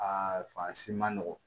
Aa fan si man nɔgɔn